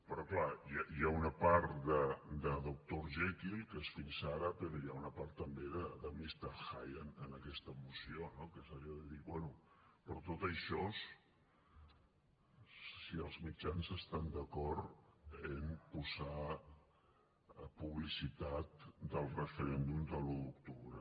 però clar hi ha una part de doctor jekyll que és fins ara però hi ha una part també de mister hyde en aquesta moció no que és allò de dir bé però tot això si els mitjans estan d’acord en posar publicitat del referèndum de l’un d’octubre